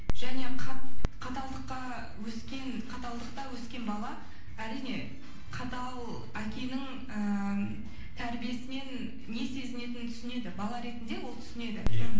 және каталдықта өскен бала әрине қатал әкенің ііі тәрбиесінен не сезінетінін түсінеді бала ретінде ол түсінеді иә мхм